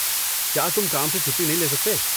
کیا تم کام سے چھٹی نہیں لے سکتے؟